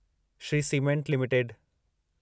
Shri cement limited